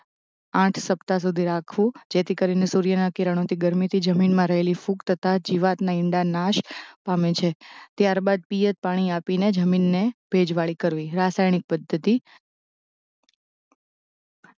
આઠ સપ્તાહ સુધી રાખવું જેથી કરીને સૂર્યના કિરણોથી ગરમીથી જમીનમાં રહેલી ફૂગ તથા જીવાતનાં ઇંડાં નાશ પામે છે. ત્યારબાદ પિયત પાણી આપીને જમીનને ભેજવાળી કરવી રાસાયણિક પધ્ધતિ